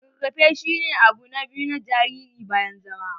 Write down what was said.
Rarrafe shi ne abu na biyu na jariri bayan zama.